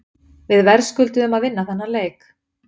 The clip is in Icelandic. Við verðskulduðum að vinna þennan leik.